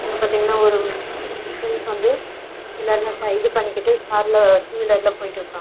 இங்க பாத்தீங்கனா ஒரு முஸ்லிம்ஸ் வந்து எல்லாருமே ப இது பண்ணிகிட்டு கார் ல டூ வீலர் ல போய்ட்டு இருக்காங்க.